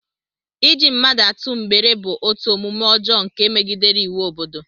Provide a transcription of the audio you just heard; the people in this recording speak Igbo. Iji mmadụ atụ mgbere bụ otu omume ọjọọ nke megidere iwu obodo